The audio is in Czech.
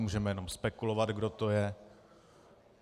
Můžeme jenom spekulovat, kdo to je.